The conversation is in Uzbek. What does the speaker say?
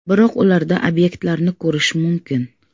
Biroq ularda obyektlarni ko‘rish mumkin.